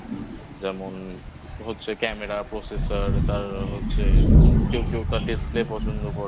যেমন হচ্ছে Camera Processer তার হচ্ছে কেউ কেউ তার Display পছন্দ করে